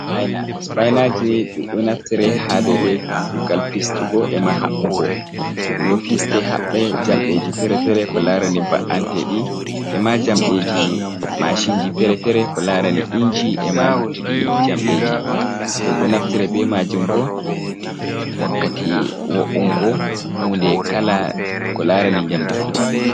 "Sipaina" sipainaji ɗum naftare ha dede kugal fistugo e ma habbugo ɗum do fiste habbe jamdeji fere fere ko larani ba’ante ɗi ema jamdeji mashinji fere fere ko larani inji e ma luttiɗi jamdeji ɗum do naftare be majun bo wakkati wo’ungo hunde kala ko larani jamdi fu.